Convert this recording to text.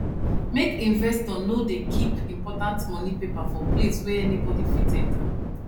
make investor no dey keep important money paper for place wey anybody fit enter